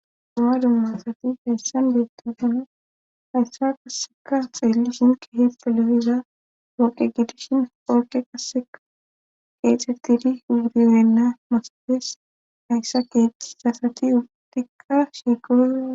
dumma dummasati hayssan beettaqona hayssa qaseka xeellu shinke hi piloyiza pooqe gidishin polqe qaseka qeexertidi hudirenna masabees hayssa keexisasati ugtikka shiiqo